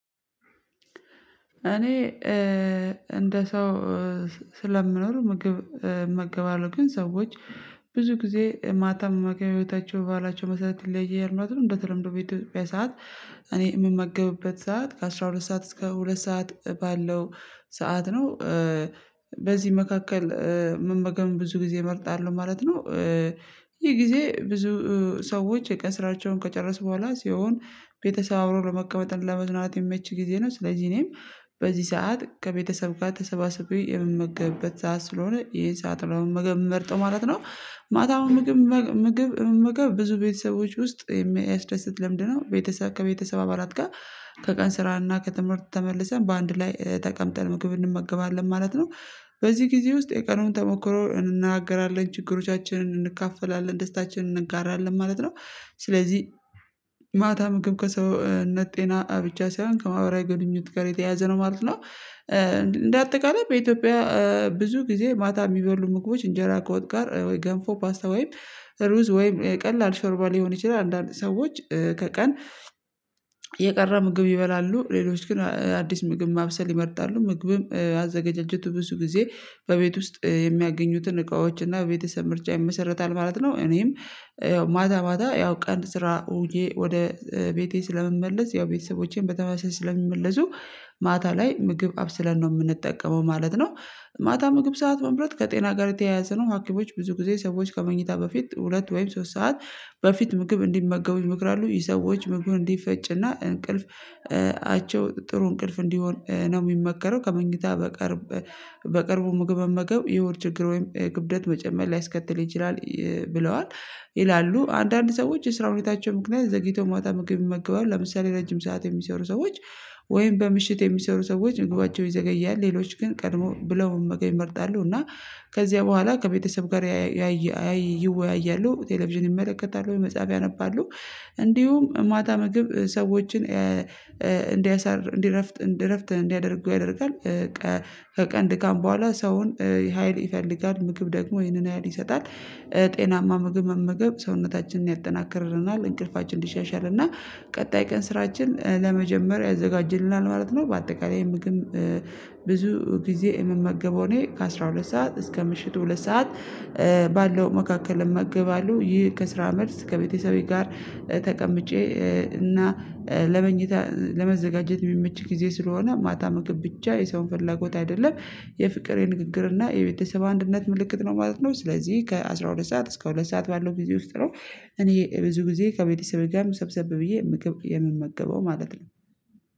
እኔ እንደ ሰው ስለምኖር ምግብ እመገባለሁ ግን ሰዎች ብዙ ጊዜ ማታ መመግባቸው ህይወታቸው ባላቸው መሰረት ይለያያል እናቱን እንደተለመደው በኢትዮጵያ ሰዓት እኔ የምመገብበት ሰዓት ከአስራ ሁለት ሰዓት እስከ ሁለት ሰዓት ባለው ሰዓት ነው በዚህ መካከል ብዙ ጊዜ እመርጣለሁ ማለት ነው። ይሄ ጊዜ ብዙ ሰዎች የቀን ስራቸውን ከጨረስኩ በኋላ ሲሆን ቤተሰብ አብሮ ለመቀመጥ ለመዝናት የሚመች ጊዜ ነው ስለዚህ እኔም በዚህ ሰዓት ከቤተሰብ ጋር ተሰባስቤ የምመገብበት ሰዓት ስለሆነ ይሄ ሰዓት ምናምን መመርጠው ማለት ነው። ማታው ምግብ ምግብ ምግብ ብዙ ቤተሰቦች ውስጥ የሚያስደስት ለምንድ ነው ቤተሰብ ከቤተሰብ አባላት ጋር ከቀን ስራና ከትምህርት ተመልሰን በአንድ ላይ ተቀምጠን ምግብ እንመገባለን ማለት ነው። በዚህ ጊዜ ውስጥ የቀኑን ተሞክሮ እንናገራለን ችግሮቻችንን እንካፈላለን ደስታችንን እንጋራለን ማለት ነው። ስለዚህ ማታ ምግብ ከሰውነት ጤና ብቻ ሳይሆን ከማህበራዊ ግንኙነት ጋር የተያያዘ ነው ማለት ነው። እንደ አጠቃላይ በኢትዮጵያ ብዙ ጊዜ ማታ የሚበሉ ምግቦች እንጀራ ከወጥ ጋር ወይ ገንፎ ፓስታ ወይም ሩዝ ወይም ቀላል ሾርባ ሊሆን ይችላል። አንዳንድ ሰዎች ከቀን የቀረ ምግብ ይበላሉ ሌሎች ግን አዲስ ምግብ ማብሰል ይመርጣሉ ምግብም አዘገጀቱ ብዙ ጊዜ በቤት ውስጥ የሚያገኙትን እቃዎች እና በቤተሰብ ምርጫ ይመሰርታል ማለት ነው። እኔም ያው ማታ ማታ ያው ቀን ስራ ውዬ ወደ ቤቴ ስለመመለስ ያው ቤተሰቦቼን በተመሳሳይ ስለሚመለሱ ማታ ላይ ምግብ አብስለን ነው የምንጠቀመው ማለት ነው። ማታ ምግብ ሰዓት መምረጥ ከጤና ጋር የተያያዘ ነው ሀኪሞች ብዙ ጊዜ ሰዎች ከመኝታ በፊት ሁለት ወይም ሶስት ሰዓት በፊት ምግብ እንዲመገቡኝ ምክር አሉ ይሄ ሰዎች ምግብ እንዲፈጭና እንቅልፍ አቸው ጥሩ እንቅልፍ እንዲሆን ነው የሚመከረው ከመኝታ በቀርብ ምግብ መመገብ የሆድ ችግር ወይም የክብደት መጨመር ላይስከትል ይችላል ብለዋል ይላሉ። አንዳንድ ሰዎች የስራ ሁኔታቸው ምክንያት ዘግይተው ማታ ምግብ የሚመገባው ለምሳሌ ረጅም ሰዓት የሚሰሩ ሰዎች ወይም በምሽት የሚሰሩ ሰዎች ምግባቸው ይዘገያል ሌሎች ግን ቀድሞ ብለው መገኝ እመርጣለሁ እና ከዚያ በኋላ ከቤተሰብ ጋር ያየ አይ ይወያያሉ ቴሌቪዥን ይመለከታሉ ወይ መጻቢያ አነባለሁ እንዲሁም ማታ ምግብ ሰዎችን እንዲያሳር እንዲረፍት እንዲያደርጉ ያደርጋል። ከቀን ድካም በኋላ ሰውን ሀይል ይፈልጋል ምግብ ደግሞ ይህንን ሀይል ይሰጣል። ጤናማ ምግብ መመገብ ሰውነታችንን ያጠናከርረናል እንቅልፋችን እንዲሻሻልና ቀጣይ ቀን ስራችን ለመጀመሪያ ያዘጋጅልናል ማለት ነው። በአጠቃላይ ምግብ ብዙ ጊዜ የምመገበው እኔ ከአስራ ሁለት ሰዓት እስከ ምሽቱ ሁለት ሰዓት ባለው መካከል መገባሉ ይህ ከስራ መልስ ከቤተሰቤ ጋር ተቀምጬ እና ለመኝታ ለመዘጋጀት የሚመች ጊዜ ስለሆነ ማታ ምግብ ብቻ የሰውን ፍላጎት አይደለም የፍቅሬ ንግግር እና የቤተሰባ አንድነት ምልክት ነው ማለት ነው። ስለዚህ ከአስራ ሁለት ሰዓት እስከ ሁለት ሰዓት ባለው ጊዜ ውስጥ ነው። እኔ ብዙ ጊዜ ከቤተሰቤ ጋር ሰብሰብ ብዬ የምመገበው ማለት ነው